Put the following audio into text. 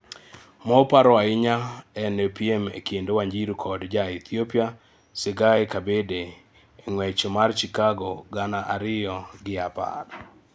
Moparo ahinya en piem ekind Wanjiru kod jaEthiopia Tsegaye Kabede e ng'wech mar Chicago gana ariyo gi apar.